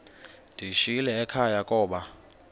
ndiyishiyile ekhaya koba